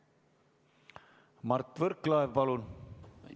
Mart Võrklaev, palun!